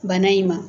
Bana in ma